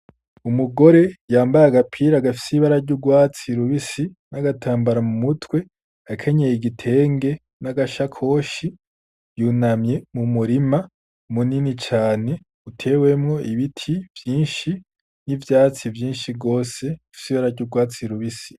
Umugore yambaye agapira agafsibara ry'urwatsi lubisi n'agatambara mu mutwe akenyeye igitenge n'agasha koshi yunamye mu murima munini cane utewemwo ibiti vyinshi n'ivyatsi vyinshi rwose fsibara ry'urwatsi lubisi.